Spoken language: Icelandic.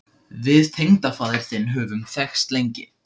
Við tengdafaðir þinn höfum þekkst lengi.